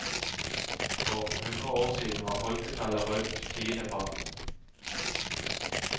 For hundre år siden var folketallet rundt tiendeparten.